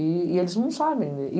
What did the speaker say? E eles não sabem ler. E